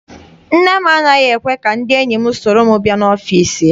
Nne m anaghị ekwe ka ndị enyi m soro m bịa n'ọfịịsi ya.